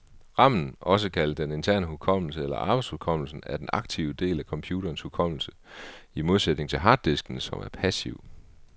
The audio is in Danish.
Ramen, også kaldet den interne hukommelse eller arbejdshukommelsen, er den aktive del af computerens hukommelse, i modsætning til harddisken, som er passiv.